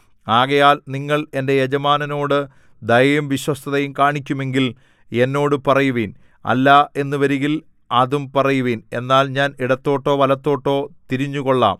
ആകയാൽ നിങ്ങൾ എന്റെ യജമാനനോടു ദയയും വിശ്വസ്തതയും കാണിക്കുമെങ്കിൽ എന്നോട് പറയുവിൻ അല്ല എന്നു വരികിൽ അതും പറയുവിൻ എന്നാൽ ഞാൻ ഇടത്തോട്ടോ വലത്തോട്ടോ തിരിഞ്ഞുകൊള്ളാം